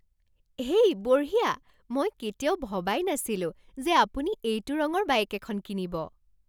হেই, বঢ়িয়া! মই কেতিয়াও ভবাই নাছিলো যে আপুনি এইটো ৰঙৰ বাইক এখন কিনিব।